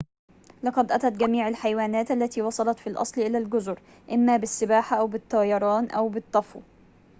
لقد أتت جميع الحيوانات التي وصلت في الأصل إلى الجزر إما بالسباحة أو بالطيران أو بالطفو